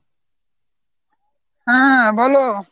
হাঁ বলো।